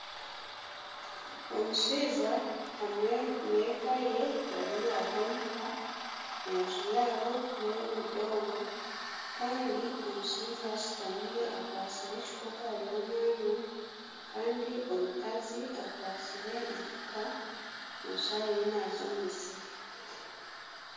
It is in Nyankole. Omushaija hamwe n'eka ye bari aha omuka, enju yaabo n'ey'obudongo kandi omushaija ashutami akwatsire ekikopo ariyo nanywa kandi omukazi akwatsire enfuuka nooshusha ariyo naaza omu musiri